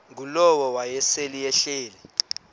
ngulowo wayesel ehleli